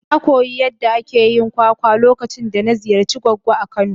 Na koyi yadda ake yin kwakwa lokacin da na ziyarci goggo a kano.